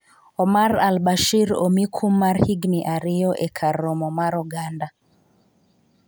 . Omar al Bashir omi kum mar higni ariyo e kar romo mar oganda